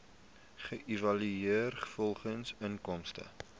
geëvalueer volgens inkomste